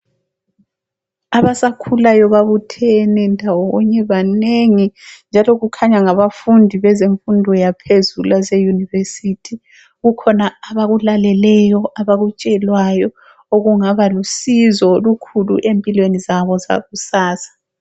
Abasakhulayo babuthene ndawonye, banengi njalo kukhanya ngabafundi bezemfundo yaphezulu ezeYunivesithi. Kukhona abakulaleleyo abakutshelwayo okungaba lusizo olokhulu empilweni zabo zakusasa.